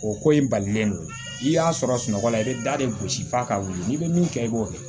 O ko in balilen don n'i y'a sɔrɔ sunɔgɔ la i bɛ da de gosi f'a ka wuli n'i bɛ min kɛ i b'o kɛ